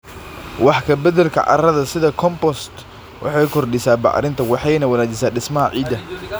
Wax ka beddelka carrada sida compost waxay kordhisaa bacrinta waxayna wanaajisaa dhismaha ciidda.